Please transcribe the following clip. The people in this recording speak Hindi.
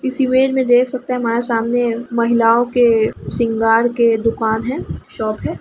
इस इमेज में देख सकते हैं हमारे सामने महिलाओं के सिंगार के दुकान है शॉप है।